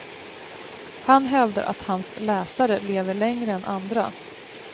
Han hävdar att hans läsare lever längre än andra.